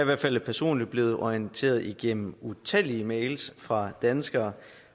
hvert fald personligt blevet orienteret gennem utallige mails fra danskere